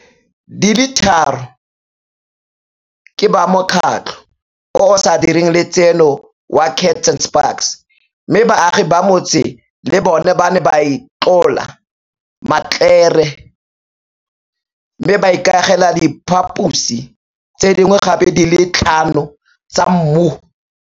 di le tharo ke ba mokgatlo o o sa direng le tseno wa Kats and Spaks, mme baagi ba motse le bona ba ne ba itlola matlere mme ba ikagela diphaposi tse dingwe gape di le tlhano tsa mmu.